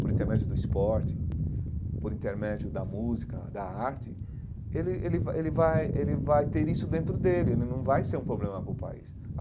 Por intermédio do esporte, por intermédio da música, da arte, ele ele vai ele vai ele vai ter isso dentro dele, não vai ser um problema para o país.